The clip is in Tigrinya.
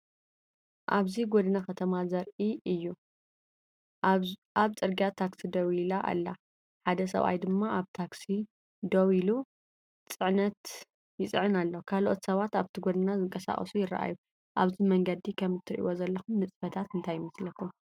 ኣብዚ ጎደና ከተማ ዘርኢ እዩ። ኣብ ጽርግያ ታክሲ ደው ኢላ ኣላ፡ ሓደ ሰብኣይ ድማ ኣብታ ታክሲ ደው ኢሉ ጽዕነት ይጽዕን ኣሎ። ካልኦት ሰባት ኣብቲ ጎደና ዝንቀሳቐሱ ይረኣዩ። ኣብዚ መንገዲ ከም ትርእይዎ ዘለኹም ንጥፈታት እንታይ ይመስለኩም?